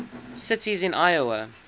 cities in iowa